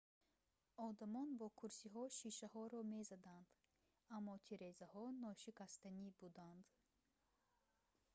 одамон бо курсиҳо шишаҳоро мезаданд аммо тирезаҳо ношикастанӣ буданд